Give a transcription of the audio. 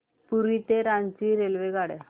पुरी ते रांची रेल्वेगाड्या